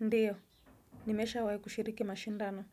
Ndiyo, nimeshawai kushiriki mashindano.